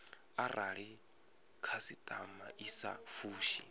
arali khasitama i sa fushi